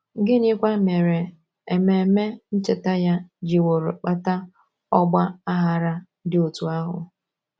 Gịnịkwa mere ememe ncheta ya jiworo kpata ọgba aghara dị otú ahụ?